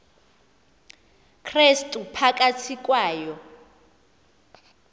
krestu phakathi kwayo